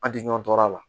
An tɛ ɲɔgɔn to a la